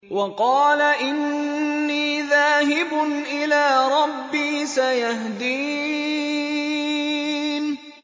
وَقَالَ إِنِّي ذَاهِبٌ إِلَىٰ رَبِّي سَيَهْدِينِ